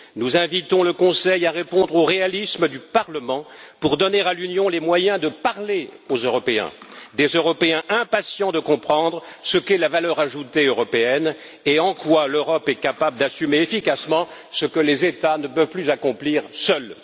Nous invitons le Conseil à répondre au réalisme du Parlement pour donner à l'Union les moyens de parler aux Européens, des Européens impatients de comprendre ce qu'est la valeur ajoutée européenne et en quoi l'Europe est capable d'assumer efficacement ce que les États ne peuvent plus accomplir seuls.